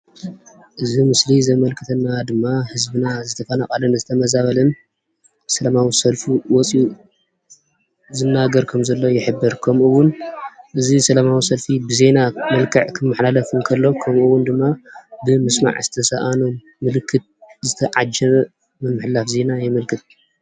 እዚ ምስሊ ዘመልክተና ድማ ህዝብና ዝተፈናቐለን ዝተመዛበለን ሰለማዊ ሰልፉ ወፂኡ ዝናገር ከምዘሎ ይሕብር። ከምኡ ውን እዚ ሰለማዊ ሰልፊ ብዜና መልክዕ ክመሓላለፍ እንከሎ ከምኡ እውን ድማ ብምስማዕ ዝተሳኣኖም ምልክት ዝተዓጀበ ምምሕልላፍ ዜና የመልክት።